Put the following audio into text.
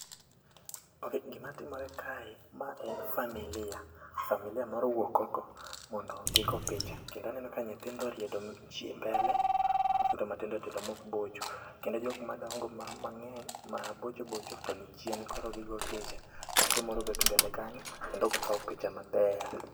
Okay, gima timore kae, ma en familia. Familia moro owuok oko mondo gigo picha. Kendo aneno ka nyithindo oriedo mbele, nyithindo matindo tindo ma ok bocho. Kendo jok madongo mang'eny mabocho bocho to ni chien. Koro gikao picha. Nyathi moro obet e mbele kanyo kendo okao picha maber.